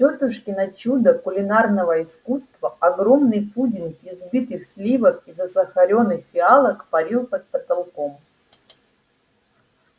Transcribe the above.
тётушкино чудо кулинарного искусства огромный пудинг из взбитых сливок и засахарённых фиалок парил под потолком